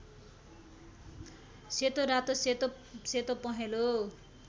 सेतोरातो सेतो सेतोपहेँलो